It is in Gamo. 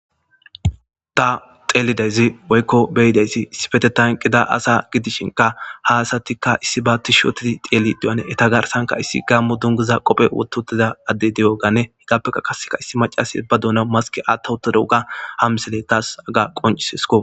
Ta xeelidaysi woyko beyidas issipetethan eqida asa gidishnka ha asatika issiba tish oti xelishn , garsanka issi gamo dungiza qope wothid utida adey diyoganne hegappeka qase issi macasiya ba duunan masken wotha utidoganne ha misiley tas hega qoncisesko